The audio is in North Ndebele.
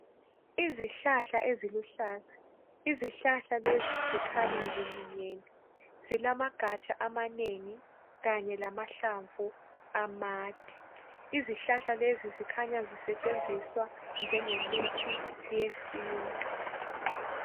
Izihlahla eziluhlaza izihlahla lezi zikhanya ziminyene zilamagatsha amanengi kanye lamahlamvu amade izihlahla lezi zikhanya zisetshenziswa njengemithi yesintu